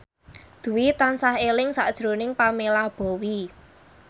Dwi tansah eling sakjroning Pamela Bowie